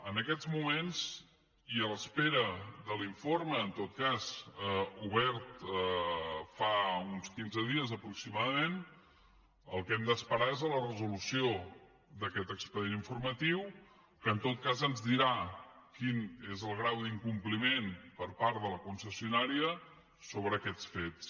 en aquests moments i a l’espera de l’informe en tot cas obert fa uns quinze dies aproximadament el que hem d’esperar és a la resolució d’aquest expedient informatiu que en tot cas ens dirà quin és el grau d’incompliment per part de la concessionària sobre aquests fets